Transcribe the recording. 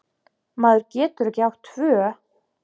Maður getur ekki átt tvö